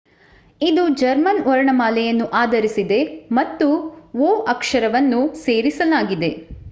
ಇದು ಜರ್ಮನ್ ವರ್ಣಮಾಲೆಯನ್ನು ಆಧರಿಸಿದೆ ಮತ್ತು õ / õ ಅಕ್ಷರವನ್ನು ಸೇರಿಸಲಾಗಿದೆ